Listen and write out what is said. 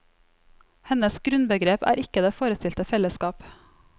Hennes grunnbegrep er ikke det forestilte fellesskap.